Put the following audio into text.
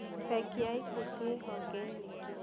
Bengi ya Equity ĩĩ honge nyingĩ.